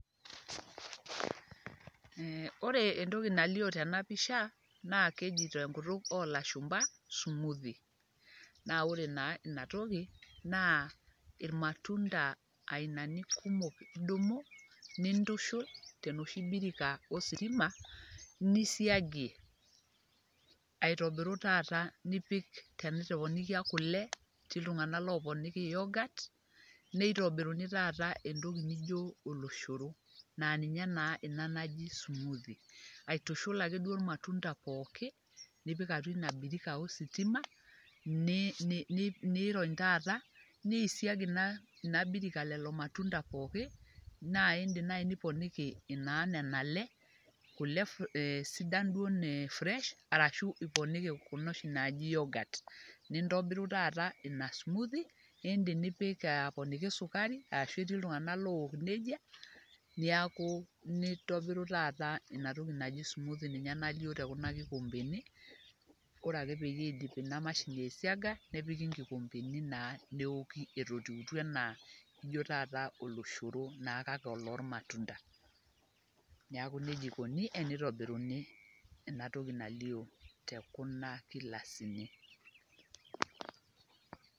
Ore entoki nalio tena pisha, naa entoki najoi te enkutuk o ilashumba smoothie, naa ore naa ina toki naa ilmatunda ainani kumok idumu nintushul te enooshi birika ositima nisiagie, aitobiru taata nipik, tenitoponikia kule, etii iltung'ana ooponiki Yorghut, neitobiruni taata entoki naijo oloshoro naa ninye ina taata naji smoothie. Aitushull ake duo ilmatunda pookin, nipik atua ina birika ositima, nirony taata neisig ina birika lelo matunda pookin, naa indim naa naaji niponiki nena le kule duo naa furesh arashu iponiki kuna oshi naaji yorghut, nintobiru taata ina smoothie, niponiki esukari, ashu etii iltung'ana ook neija neakuu nintobiru taata ina toki naji smoothie ninye najo te ekuna kikombeni, ore ake pee eidip ina mashini aisiaga nepiki inkikombeni naa neoki eton eitu naa taata ana oloshoro olmatunda, neaku neija eikuni teneitobiruni ena toki nalio te kuna gilasini.